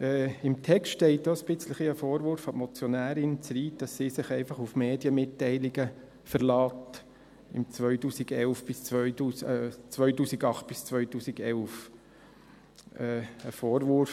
Der Text enthält auch ein bisschen einen Vorwurf an die Motionärin Zryd, dass sie sich einfach auf Medienmitteilungen der Jahre 2008 bis 2011 verlässt.